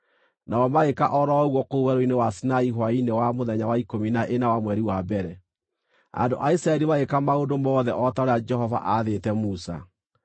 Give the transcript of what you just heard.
Nao magĩĩka o ro ũguo kũu Werũ-inĩ wa Sinai hwaĩ-inĩ wa mũthenya wa ikũmi na ĩna wa mweri wa mbere. Andũ a Isiraeli magĩĩka maũndũ mothe o ta ũrĩa Jehova aathĩte Musa.